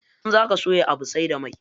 In zaka soya Abu sai da mai.